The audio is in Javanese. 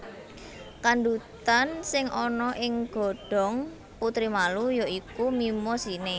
Kandhutan sing ana ing godhong putri malu ya iku Mimosine